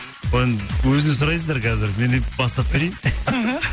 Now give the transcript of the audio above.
бұл енді өзінен сұрайсыздар қазір мен тек бастап берейін іхі